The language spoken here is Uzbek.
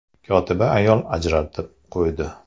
Kotiba ayol ajratib qo‘ydi.